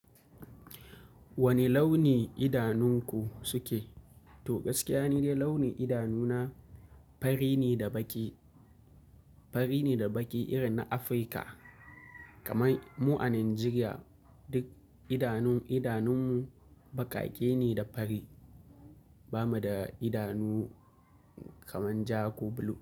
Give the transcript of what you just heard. Wane launi idanunku suke? To gaskiya nide, launin idanuna fari ne da baƙi, fari ne da baƙi irin na Afirka. Kamai mu a Najeriya, duk idanun, idanunmu baƙaƙe ne da fari. Ba mu da idanu kaman ja ko blue.